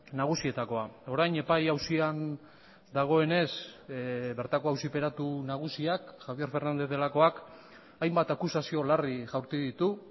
nagusietakoa orain epai auzian dagoenez bertako auziperatu nagusiak javier fernández delakoak hainbat akusazio larri jaurti ditu